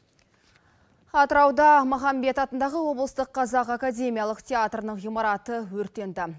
атырауда махамбет атындағы облыстық қазақ академиялық театрының ғимараты өртенді